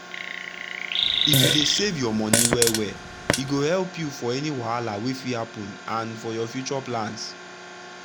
if you dey save your money well well e go help you for any wahala wey fit happen and for your future plans.